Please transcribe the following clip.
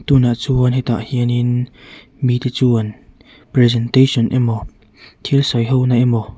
tunah chuan hetah hianin mite chuan presentation emaw thil sawi hona emaw--